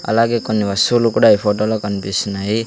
అలాగే కొన్ని వస్తువులు కూడా ఈ ఫొటో లో కన్పిస్తున్నాయి.